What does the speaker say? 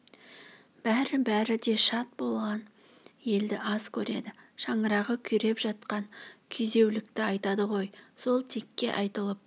бәр-бәрі де шат болған елді аз көреді шаңырағы күйреп жатқан күйзеулікті айтады ғой сол текке айтылып